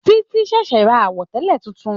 Títí ṣẹ̀ṣẹ̀ ra àwọ̀tẹlẹ tuntun.